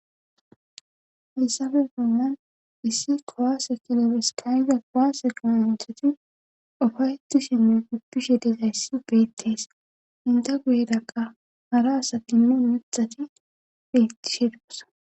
Hayssafe fumman issi kowase kilobeskayida kowase qoma hinthati ufaytu shimmi guppishe deza yssi beettees inda guyedakka hara asatinne mithati beyttishe dosa